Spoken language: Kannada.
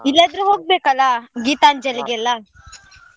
ಇಲ್ಲದ್ರೆ ಹೋಗ್ಬೇಕು ಅಲ್ಲಾ ಗೀತಾಂಜಲಿಗೆಲ್ಲ.